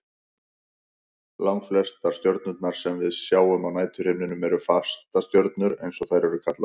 Langflestar stjörnurnar sem við sjáum á næturhimninum eru fastastjörnur eins og þær eru kallaðar.